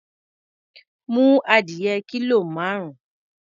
Mú adìyẹ kílò márùn-ún.